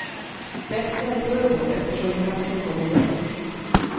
Bättre än turbo, eftersom kraften kommer direkt.